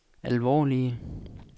alvorlige